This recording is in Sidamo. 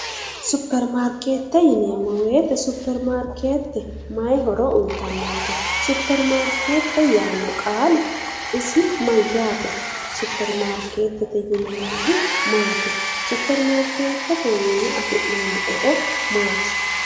Supperimaarkeette yineemmo woyite supperimaarkeette mayi horo uyitannonke? Supperimaarkeette yaanno qaali isi mayyaate? Supperimaarkeette yineemmohu maati? Supperimaarkeettetewiinni afi'neemmo horo maati?